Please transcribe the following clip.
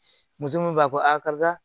Muso mun b'a fɔ ko a karisa